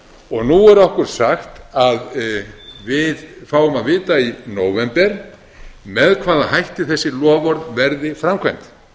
nú er okkur sagt að við fáum að vita í nóvember með hvaða hætti þessi loforð verði framkvæmd